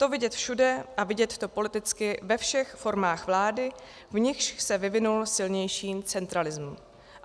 To vidět všude a vidět to politicky ve všech formách vlády, v nichž se vyvinul silnější centralism.